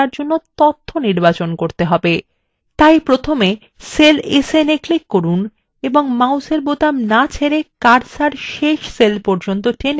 তাই প্রথমে cell snএ click করুন এবং মাউসের বোতাম so ছেড়ে cursor শেষ cell পর্যন্ টেনে আনুন ত যাতে 700 আছে